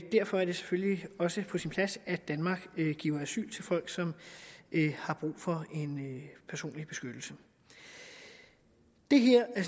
derfor er det selvfølgelig også på sin plads at danmark giver asyl til folk som har brug for en personlig beskyttelse det